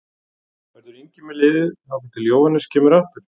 Verður Ingi með liðið þangað til Jóhannes kemur aftur?